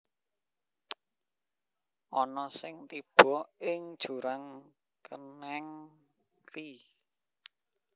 Ana sing tiba ing jurang kenèng ri